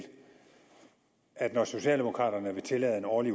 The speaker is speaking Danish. at når socialdemokraterne vil tillade en årlig